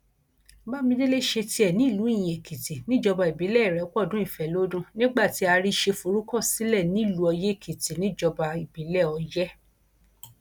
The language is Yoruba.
bámidélé ṣe tiẹ nílùú iyinẹkìtì níjọba ìbílẹ ìrépọdùn ifẹlọdún nígbà tí àrísẹ forúkọ sílẹ nílùú ọyẹèkìtì níjọba ìbílẹ ọyẹ